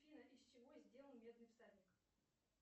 афина из чего сделан медный всадник